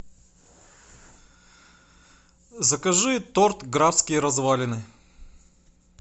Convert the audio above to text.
закажи торт графские развалины